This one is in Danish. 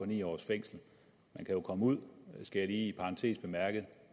ni års fængsel man kan jo komme ud skal jeg lige i parentes bemærke og